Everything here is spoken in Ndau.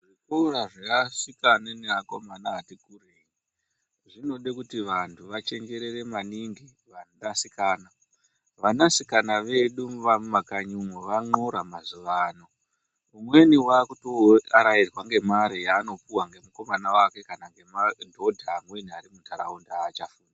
Zvikora zveasikana naakomana ati kurei zvinoda kuti vantu vachenjerere maningi vanasikana vanasikana vedu vemumakanyiumo van'ora mazuva ano. Umweni ave kutoarairwa ngemare yaanopuwa ngemukomana wake kana ngemadhodha amweni ari muntaraunda